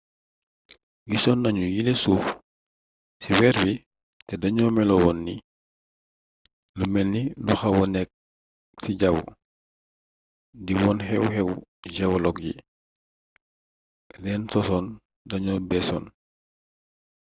gisoon nañu yile suuf ci weer wi te dañoo meloon ni lu melni lu xawa nekk ci jawwu di wone xew-xewi geologue yi leen sosoon dañoo beesoon